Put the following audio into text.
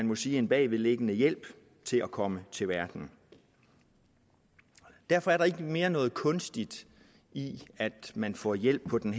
må sige en bagvedliggende hjælp til at komme til verden derfor er der ikke mere noget kunstigt i at man får hjælp på den